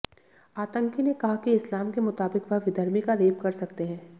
आतंकी ने कहा कि इस्लाम के मुताबिक वह विधर्मी का रेप कर सकते हैं